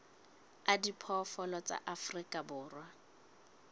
a diphoofolo tsa afrika borwa